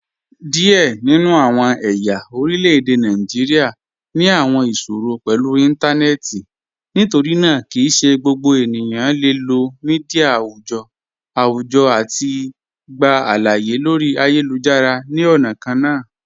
Diẹ ninu awọn ẹ̀ya orilẹ̀-èdè Nàìjíríà ni awọn iṣòrọ̀ pẹ̀lú intanẹẹti, nítorínaa kí í ṣẹ̀ gbogbo ènìyàn le lọ̀ míḍíà awùjọ́ awùjọ̀ àti gbà aláàyè lórí ayélujára ni ọna kànna.